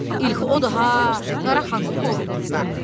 İlkhı odur ha, Qara Xanın qoruğunda.